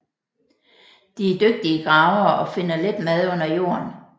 De er dygtige gravere og finder let mad under jorden